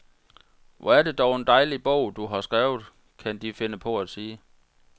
Hvor er det dog en dejlig bog, du har skrevet, kan de finde på at sige.